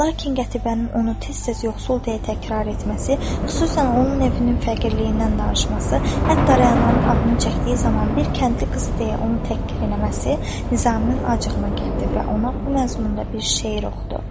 Lakin Qətibənin onu tez-tez yoxsul və deyil təkrarlaması, xüsusan onun evinin fəqirliyindən danışması, hətta rəyanın adını çəkdiyi zaman bir kəndli qızı deyə onu təhqir eləməsi Nizaminin acığına gəldi və ona bu məzmunda bir şeir oxudu.